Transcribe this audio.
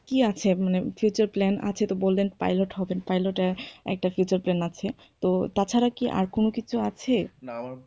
কি আছে মানে future plan আছে তো বললেন pilot হবেন pilot য়ে একটা future plan আছে। তো তাছাড়াও কি আর কোনো কিছু আছে? না আমার,